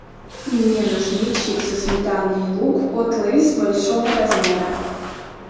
мне нужны чипсы сметана и лук от лейс большого размера